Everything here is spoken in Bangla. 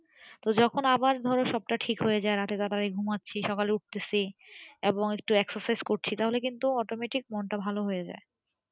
তো যখন আবার ধরো সবটা আবার ঠিক হয়ে যায় রাতে এবারে ঘুমাচ্ছি সকালে উঠতেছি এবং একটু exercise করছি তাহলে কিন্তু automatic মনটা ভালো হয়ে যাই